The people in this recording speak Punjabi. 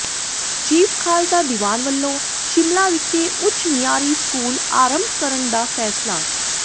ਚੀਫ਼ ਖਾਲਸਾ ਦੀਵਾਨ ਵੱਲੋੋਂ ਸ਼ਿਮਲਾ ਵਿਖੇ ਉੱਚ ਮਿਆਰੀ ਸਕੂਲ ਆਰੰਭ ਕਰਨ ਦਾ ਫ਼ੈਸਲਾ